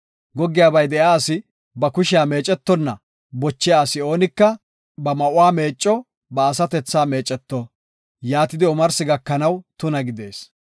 “Goggiyabay de7iya asi ba kushiya meecetonna bochiya asi oonika ba ma7uwa meecco; ba asatethaa meeceto; yaatidi omarsi gakanaw tuna gidees.